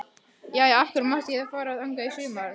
Jæja, af hverju mátti ég þá fara þangað í sumar?